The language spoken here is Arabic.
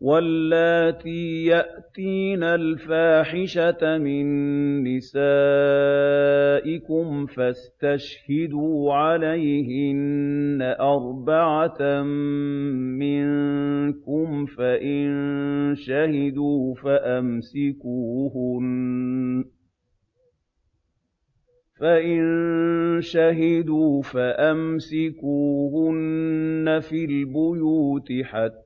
وَاللَّاتِي يَأْتِينَ الْفَاحِشَةَ مِن نِّسَائِكُمْ فَاسْتَشْهِدُوا عَلَيْهِنَّ أَرْبَعَةً مِّنكُمْ ۖ فَإِن شَهِدُوا فَأَمْسِكُوهُنَّ فِي الْبُيُوتِ حَتَّىٰ